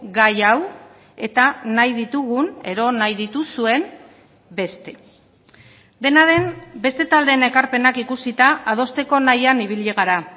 gai hau eta nahi ditugun edo nahi dituzuen beste dena den beste taldeen ekarpenak ikusita adosteko nahian ibili gara